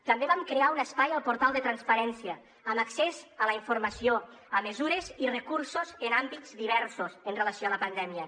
també vam crear un espai al portal de transparència amb accés a la informació amb mesures i recursos en àmbits diversos amb relació a la pandèmia